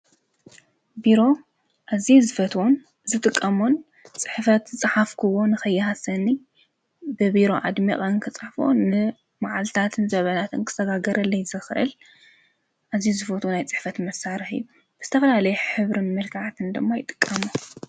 ቢሮ ኣዝየ ዝፈትዎን ዝጥቀሞን ፅሕፈት ዝፀሓፍክዎ ንኸይሃሰኒ ብቢሮ ኣድሚቐ እንክፅሕፎ ንማዓልትታት ዘበናትን ክሰጋገለይ ዝኽእል ኣዝዩ ዝፈትዎ ናይ ፅሕፈት መሳርሒ እዩ፡፡ ዝተፈላለየ ሕብርን መልክዓት ድማ ይጥቀሙ፡፡